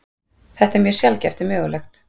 Þetta er mjög sjaldgæft en mögulegt.